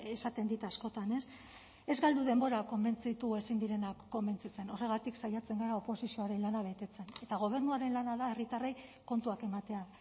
esaten dit askotan ez galdu denbora konbentzitu ezin direnak konbentzitzen horregatik saiatzen gara oposizioaren lana betetzen eta gobernuaren lana da herritarrei kontuak ematea